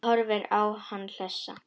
Hún horfir á hann hlessa.